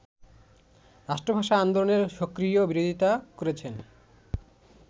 রাষ্ট্রভাষা আন্দোলনের সক্রিয় বিরোধিতা করেছেন